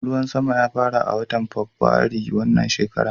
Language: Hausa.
Ruwan sama ya fara a watan Fabwairu wannan shekara.